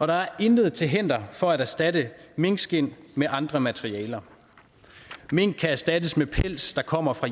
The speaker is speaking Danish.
og der er intet til hinder for at erstatte minkskind med andre materialer mink kan erstattes med pels der kommer fra